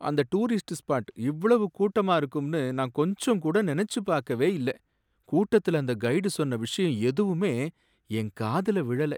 அந்த tourist spot இவ்வளவு கூட்டமா இருக்கும்னு நான் கொஞ்சம் கூட நினைச்சு பார்க்கவே இல்லை. கூட்டத்துல அந்த கைடு சொன்ன விஷயம் எதுவுமே என் காதுல விழல.